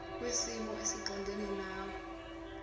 kwisimo esiqondena nawe